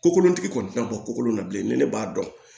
Ko kolontigi kɔni tɛna bɔ kolon na bilen ni ne b'a dɔn